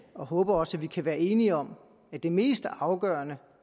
og håber også at vi kan være enige om at det mest afgørende